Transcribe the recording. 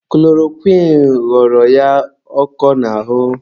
Kulorokwịn ghọrọ ya ọkọ n'ahụ.